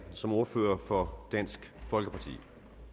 som ordfører for dansk folkeparti